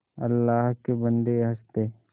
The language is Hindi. अल्लाह के बन्दे हंस दे